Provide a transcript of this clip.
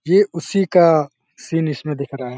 ये उसी का सीन इसमें दिख रहा है।